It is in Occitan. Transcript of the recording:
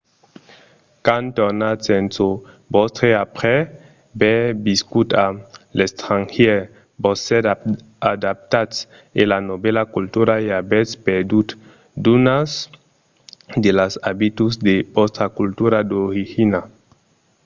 quand tornatz en çò vòstre après aver viscut a l’estrangièr vos sètz adaptats a la novèla cultura e avètz perdut d’unas de las abituds de vòstra cultura d’origina